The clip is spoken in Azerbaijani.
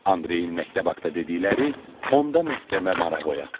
Andreyin məktəb haqqda dedikləri onda məktəbə maraq oyatdı.